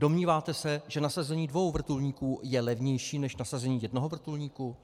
Domníváte, se, že nasazení dvou vrtulníků je levnější než nasazení jednoho vrtulníku?